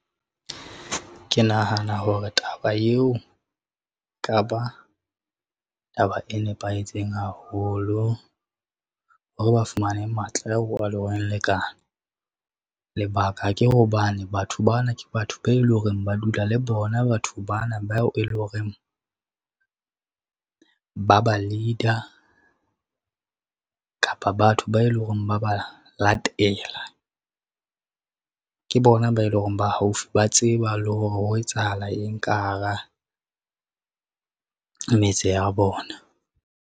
Ke nahana hore taba eo, ka ba taba e nepahetseng haholo hore ba fumane matla a lekane. Lebaka ke hobane batho bana ke batho be e lo reng ba dula le bona batho bana bao e lo reng, ba ba leader, kapa ba batho be lo reng ba ba latela. Ke bona ba e lo reng ba haufi ba tseba le hore ho etsahala eng ka hara metse ya bona.